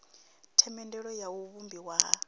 themendelo ya u vhumbiwa ha